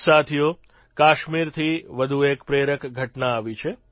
સાથીઓ કાશ્મીરથી વધુ એક પ્રેરક ઘટના આવી છે